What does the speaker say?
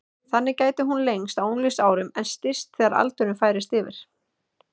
Þannig gæti hún lengst á unglingsárum en styst þegar aldurinn færist yfir.